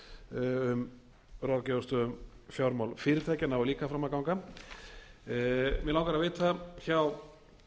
um ráðgjfarstöð um fjármál fyrirtækja nái líka fram að ganga mig langar að vita hjá